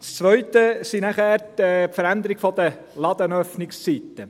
Das Zweite betrifft die Veränderungen der Ladenöffnungszeiten.